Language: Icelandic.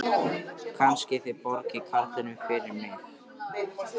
Kannski þið borgið karlinum fyrir mig.